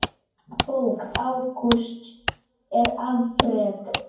Bók Ágústs er afrek.